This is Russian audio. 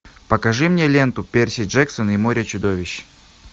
покажи мне ленту перси джексон и море чудовищ